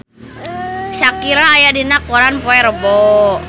Shakira aya dina koran poe Rebo